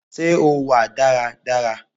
Ṣé o wà dára dára